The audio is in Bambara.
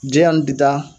Diyan ni bida